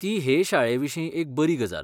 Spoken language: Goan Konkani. ती हे शाळेविशीं एक बरी गजाल.